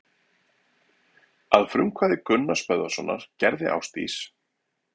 Að frumkvæði Gunnars Böðvarssonar gerði Ásdís